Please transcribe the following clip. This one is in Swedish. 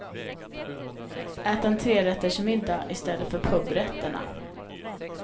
Ät en trerättersmiddag i stället för pubrätterna.